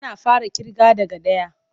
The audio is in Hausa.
Ana fara ƙirga daga ɗaya.